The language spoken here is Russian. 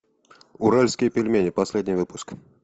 уральские пельмени последний выпуск